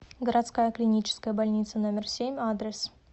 городская клиническая больница номер семь адрес